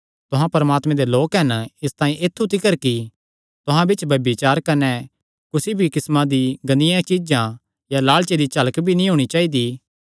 तुहां परमात्मे दे लोक हन इसतांई ऐत्थु तिकर कि तुहां बिच्च ब्यभिचार कने कुसी भी किस्मा दियां गंदियां चीज्जां या लालचे दी झलक भी नीं होणी चाइदी